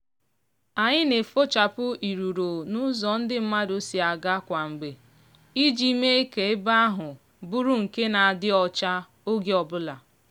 anyị na-efochapụ iriro n'ụzọ ndị mmadụ si aga kwa mgbe iji mee ka ebe ahụ bụrụ nke na-adị ọcha oge ọbụla.